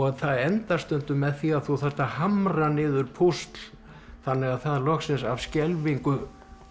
það endar stundum með því að þú þarft að hamra niður púsl þannig að það loksins af skelfingu